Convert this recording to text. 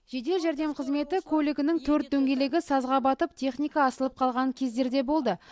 жедел жәрдем қызметі көлігінің төрт дөңгелегі сазға батып техника асылып қалған кездер де болды